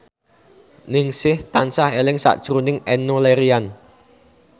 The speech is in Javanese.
Ningsih tansah eling sakjroning Enno Lerian